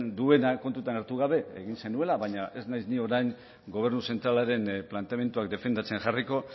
duena kontuan hartu gabe egin zenuela baina ez naiz ni orain gobernu zentralaren planteamenduak defendatzen jarriko